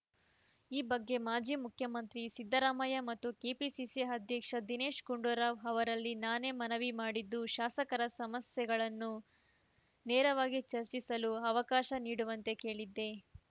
ಈ ಬಗ್ಗೆ ಮಾಜಿ ಮುಖ್ಯಮಂತ್ರಿ ಸಿದ್ದರಾಮಯ್ಯ ಮತ್ತು ಕೆಪಿಸಿಸಿ ಅಧ್ಯಕ್ಷ ದಿನೇಶ್‌ ಗುಂಡೂರಾವ್‌ ಅವರಲ್ಲಿ ನಾನೇ ಮನವಿ ಮಾಡಿದ್ದು ಶಾಸಕರ ಸಮಸ್ಯೆಗಳನ್ನು ನೇರವಾಗಿ ಚರ್ಚಿಸಲು ಅವಕಾಶ ನೀಡುವಂತೆ ಕೇಳಿದ್ದೆ